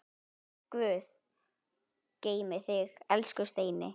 Guð geymi þig, elsku Steini.